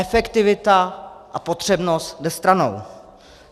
Efektivita a potřebnost jde stranou.